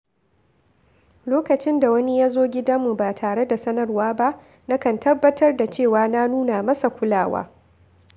Lokacin da wani ya zo gidanmu ba tare da sanarwa ba, na kan tabbatar da cewa na nuna masa kulawa.